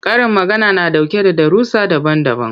Karin magana na ɗauke da darussa daban-daban.